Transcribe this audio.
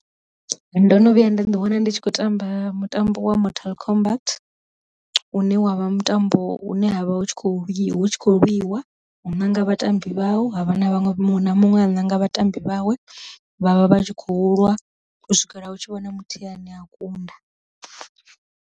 Ndo no vhuya nda ḓi wana ndi tshi khou tamba mutambo wa mortal kombat une wavha mutambo une havha hu tshi kho lwi hu tshi khou lwiwa u ṋanga vhatambi vhau, havha na vhaṅwe muṅwe na muṅwe a ṋanga vhatambi vhawe vhavha vha tshi khou lwa u swikela hu tshi vhona muthihi hani a kunda.